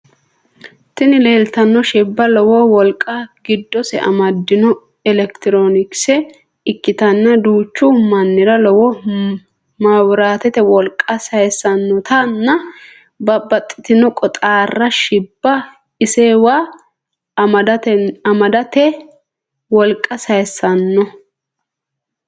tini leeltanno shibba lowo wolqa giddose amaddinno elekitironikise ikkitanna duuchu mannira lowo mawiratete wolqa sayissannotanna babaxitinno qoxaarra shibba isewa amadante wolqa sayissanno.